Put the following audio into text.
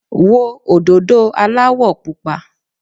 Wo òdòdó aláwọ̀ Pupa.